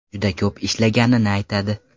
Juda ko‘p ishlaganini aytadi.